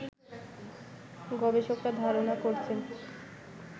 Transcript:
গবেষকরা ধারণা করছেন